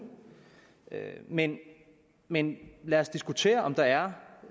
men men lad os diskutere om der er